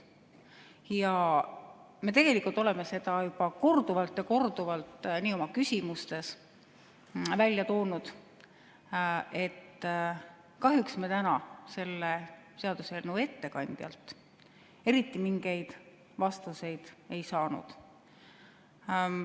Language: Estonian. Ja oleme juba korduvalt ja korduvalt oma küsimustes välja toonud, et kahjuks me täna selle seaduseelnõu ettekandjalt eriti mingeid vastuseid ei saanud.